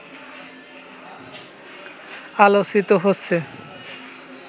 আলোচিত হচ্ছে